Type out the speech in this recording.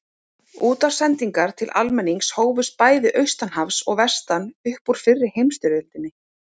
Útvarpssendingar til almennings hófust bæði austan hafs og vestan upp úr fyrri heimsstyrjöldinni.